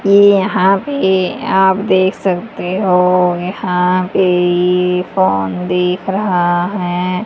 ये यहां पे आप देख सकते हो यहां पे ये फोन देख रहा है।